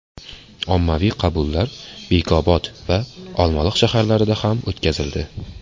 Ommaviy qabullar Bekobod va Olmaliq shaharlarida ham o‘tkazildi.